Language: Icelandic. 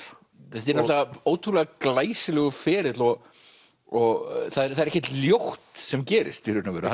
þetta er ótrúlega glæsilegur ferill og og það er ekkert ljótt sem gerist í raun og veru